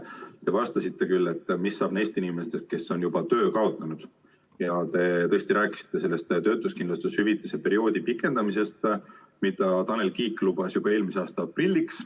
Te vastasite küsimusele, mis saab neist inimestest, kes on juba töö kaotanud, ja rääkisite töötuskindlustushüvitise maksmise perioodi pikendamisest, mida Tanel Kiik lubas juba eelmise aasta aprilliks.